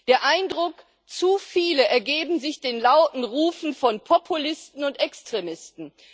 Der Eindruck Zu viele ergeben sich den lauten Rufen von Populisten und Extremisten.